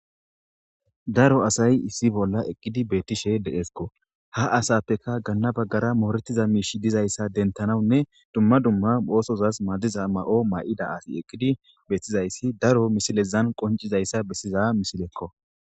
Daro asay issi bolla eqqidi beettishe deeskko ha asappekka ganna baggara mooretiza miishshi dizayssa dentanawunne dumma dumma oosozas madiza ma'o maa'ida asi eqqidi bettizayssi daro misilezan qoncizayssa bessiza misilekko